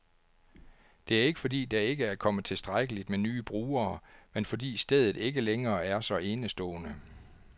Det er ikke, fordi der ikke kommer tilstrækkeligt med nye brugere, men fordi stedet ikke længere er så enestående.